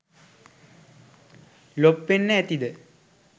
ලොප් වෙන්න ඇතිද ?